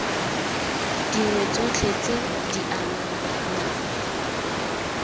dingwe tsotlhe tse di amanang